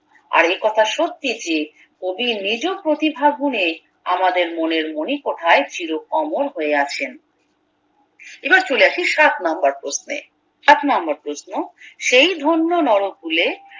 আর এ কথা সত্যি যে কবি নিজ প্রতিভা গুনে আমাদের মনের মনিকোঠায় চির অমর হয়ে আছেন এবার চলে আসি সাত নাম্বার প্রশ্নে সাত নাম্বার প্রশ্ন সেই ধন্য নরকুলে